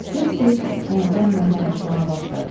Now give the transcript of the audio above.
Tez-tez həyəcanla danışmağa başladı.